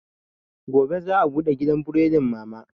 Gobe za a bude gidan buredin mama